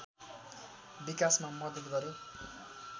विकासमा मद्दत गर्‍यो